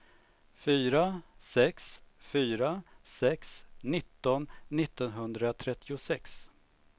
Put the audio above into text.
fyra sex fyra sex nitton niohundratrettiosex